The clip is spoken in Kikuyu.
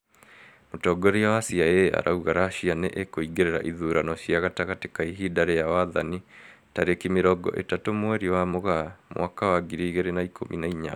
Mũtongoria wa CIA arauga Russia nĩ ĩkũingĩrĩra ithurano cia gatagatĩ ka ihinda rĩa wathani tarĩki mĩrongo ĩtatũ mweri wa Mũgaa mwaka wa ngiri igĩrĩ na ikũmi na inyanya